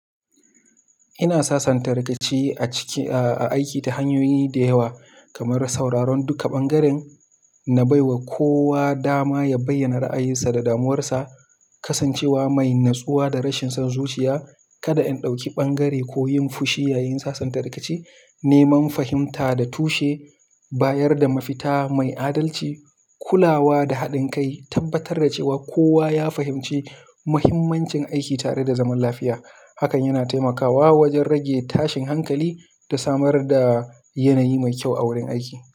Ina sasanta rikici a ciki, a aiki ta hanyoyi da yawa kamar sauraron duka bangaren na bai wa kowa dama ya bayyana ra'ayinsa da damuwarsa, kasancewa mai natsuwa da rashin son zuciya, kada in ɗauki ɓangare ko yin fushi yayin sasanta rikici, neman fahimta da tushe, bayar da mafita mai adalci, kulawa da haɗin kai, tabbatar da cewa kowa ya fahimci muhimmancin aiki tare da zaman lafiya. Hakan yana taimakawa wajen rage tashin hankali da samar da yanayi mai kyau a wurin aiki.